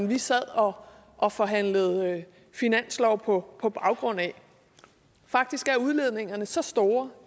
vi sad og og forhandlede finanslov på på baggrund af faktisk er udledningerne så store